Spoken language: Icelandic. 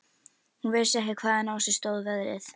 Hún vissi ekki hvaðan á sig stóð veðrið.